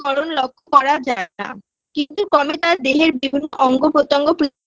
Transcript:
করণ লক্ষ্য করা যায় না কিন্তু কোনটা দেহের বিভিন্ন অঙ্গ প্রতঙ্গ প্রি